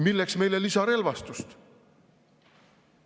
Milleks meile lisarelvastust?